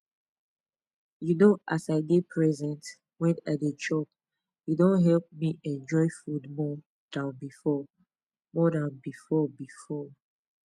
you know as i dey present wen i dey chop e don help me enjoy food more than before more than before before